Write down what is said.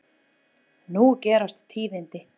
Nú gerast tíðindi.